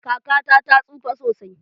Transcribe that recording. Kakata ta tsufa sosai.